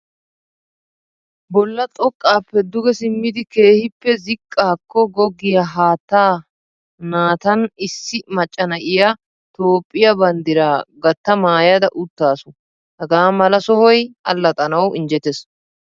Bolla xoqqaappe duge simmidi keehippe ziqqaakko goggiya haattaa natan issi macca na'iya Toophphiya banddiraa gatta maayada uttaasu. Hagaa mala sohoy allaxxanawu injjetees.